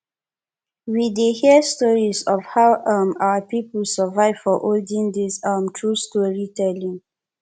we dey hear stories of how um our people survive for olden days um through storytelling